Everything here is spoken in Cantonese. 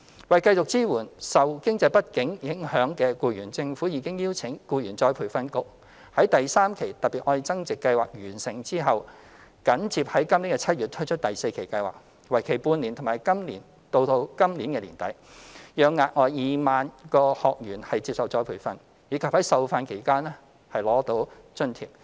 為繼續支援受經濟不景影響的僱員，政府已邀請僱員再培訓局在第三期"特別.愛增值"計劃完成後，緊接於今年7月推出第四期計劃，為期半年至今年年底，讓額外2萬名學員接受再培訓，以及在受訓期間取得津貼。